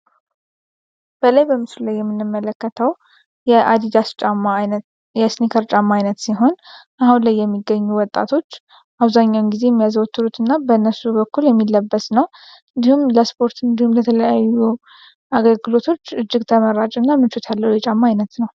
በላይ በምሱል ላይ የሚንመለከተው አዲዳስ ስኒከርጫማ አይነት ሲሆን አሁን ላይ የሚገኙ ወጣቶች አውዛኛውን ጊዜ የሚያዘወትሩት እና በነሱ በኩል የሚለበስ ነው። እንዲሁም ለስፖርት እንዲሁም ለተለያዩ አገግሎቶች እጅግ ተመራጭ እና ምንቾት ያለው የጫማ አይነት ነው።